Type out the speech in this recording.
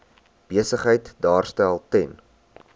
besigheid daarstel ten